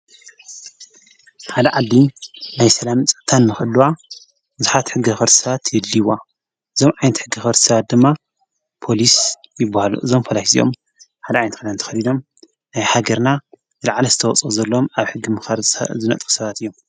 ሓለ ዓሊ ናይ ሰላም ጸታን መቕልዋ ዙኃት ሕጊ ፈርሳት የድልይዋ ዞም ዓይንቲ ሕጊ ፈርሳት ድማ ጶሊስ ይብሃሉ ዞም ፈላይ ዜኦም ሓል ኣይንት ኸዳ ን ተኸሊዶም ናይ ሃገርና ዝለዓለ ዝተወጾ ዘሎም ኣብ ሕጊ ምኸርሣ ዝነጥኽሰባት እዮም።